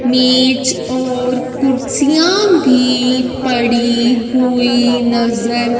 मेज और कुर्सियां भी पड़ी हुई नजर--